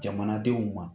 Jamanadenw ma